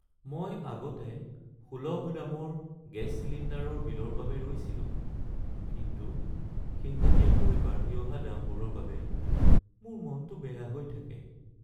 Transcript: মই আগতে সূলভ দামৰ গেছ চিলিণ্ডাৰৰ বিলৰ বাবে ৰৈছিলোঁ কিন্তু শেহতীয়াকৈ বাঢ়ি অহা দামবোৰৰ বাবে মোৰ মনটো বেয়া হৈ থাকে।